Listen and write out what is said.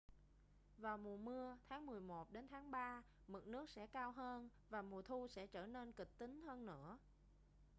vào mùa mưa tháng 11 đến tháng 3 mực nước sẽ cao hơn và mùa thu sẽ trở nên kịch tính hơn nữa